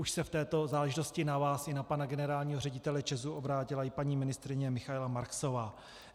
Už se v této záležitosti na vás i na pana generálního ředitele ČEZu obrátila i paní ministryně Michaela Marksová.